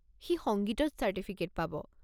সি সংগীতত চার্টিফিকেট পাব।